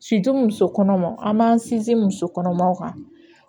muso kɔnɔmaw an b'an sinsin muso kɔnɔmaw kan